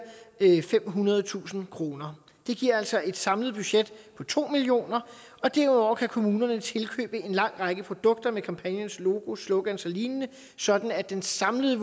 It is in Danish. femhundredetusind kroner det giver altså et samlet budget på to million kr og derudover kan kommunerne tilkøbe en lang række produkter med kampagnens logo slogans og lignende sådan at det samlede